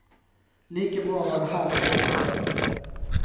Like bra å være her som andre steder.